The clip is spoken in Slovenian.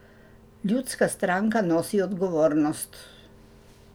Ljudska stranka nosi odgovornost.